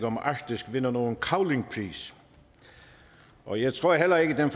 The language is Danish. om arktis vinder nogen cavlingpris og jeg tror heller ikke at den